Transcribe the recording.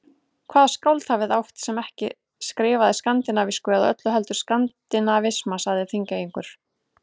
Hvaða skáld hafið þið átt, sem ekki skrifaði skandinavísku eða öllu heldur skandinavisma, sagði Þingeyingur.